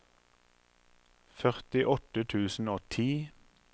førtiåtte tusen og ti